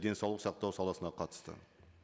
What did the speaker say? денсаулық сақтау саласына қатысты